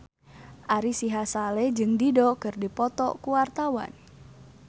Ari Sihasale jeung Dido keur dipoto ku wartawan